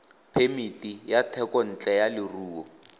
phemiti ya thekontle ya leruo